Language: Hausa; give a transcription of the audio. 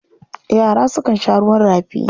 Yara sukan sha ruwan rafi.